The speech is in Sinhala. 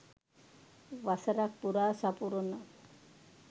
වසරක් පුරා සපුරන